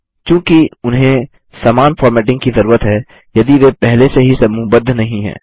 चूंकि उन्हें समान फॉर्मेटिंग की जरूरत है यदि वे पहले से ही समूहबद्ध नहीं हैं